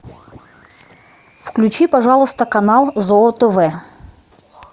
включи пожалуйста канал зоо тв